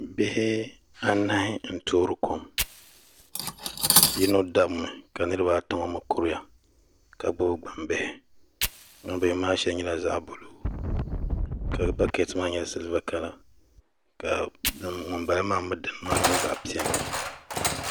Bihi anahi n toori kom yino dabmi ka niraba ata ŋo mii kuriya ka gbubi gbambihi gbambihi maa shɛli nyɛla zaɣ buluu ka bakɛt maa mii nyɛ zaɣ vakaɣali ka ŋunbala maa mii dini maa nyɛ zaɣ vakaɣali